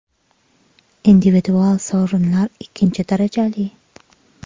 Individual sovrinlar ikkinchi darajali.